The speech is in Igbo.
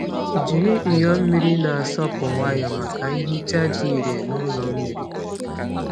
Jiri nyo mmiri na-asọpụ nwayọọ maka nhicha dị irè n’ụlọ mmiri.